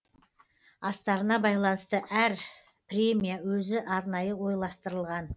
астарына байланысты әр премия өзі арнайы ойластырылған